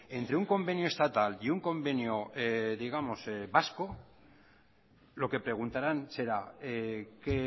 entre un convenio estatal y un convenio digamos vasco lo que preguntarán será qué